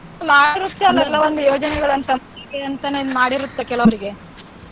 ಒಂದ್ ಯೋಜನೆಗಳಂತ ಅಂತಾನೆ ಮಾಡಿರುತ್ತೆ ಕೆಲವರಗೆ.